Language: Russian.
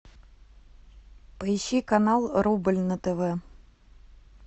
поищи канал рубль на тв